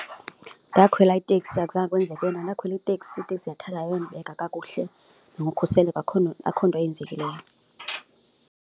Ndakhwela iteksi akuzange kwenzeke nto, ndakhwela iteksi, iteksi yandithatha yayondibeka kakuhle nangokhuseleko, akukho akukho nto eyenzekileyo.